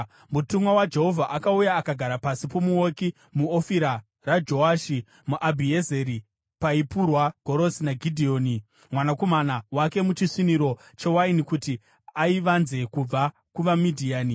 Mutumwa waJehovha akauya akagara pasi pomuouki muOfira raJoashi muAbhiezeri, paipurwa gorosi naGidheoni mwanakomana wake muchisviniro chewaini, kuti aivanze kubva kuvaMidhiani.